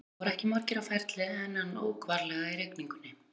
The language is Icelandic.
Það voru ekki margir á ferli en hann ók varlega í rigningunni.